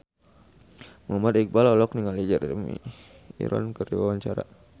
Muhammad Iqbal olohok ningali Jeremy Irons keur diwawancara